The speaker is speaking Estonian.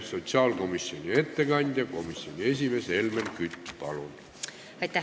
Sotsiaalkomisjoni ettekandja, komisjoni esimees Helmen Kütt, palun!